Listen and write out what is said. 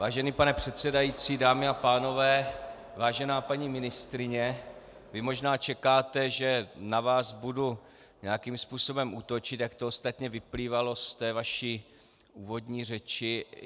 Vážený pane předsedající, dámy a pánové, vážená paní ministryně, vy možná čekáte, že na vás budu nějakým způsobem útočit, jak to ostatně vyplývalo z té vaší úvodní řeči.